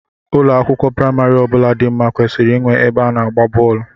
Ụlọ akwụkwọ praimari ọbụla dị nma kwesịrị inwe ebe a na-agba bọọlụ.